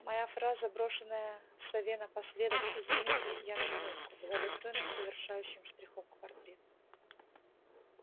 моя фраза брошенная сове напоследок извините я на минутку была достойным завершающим штрихом к портрет